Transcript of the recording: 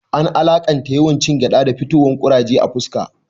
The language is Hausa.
An alaƙanta yawan cin gyaɗa da fitowar kuraje a fuska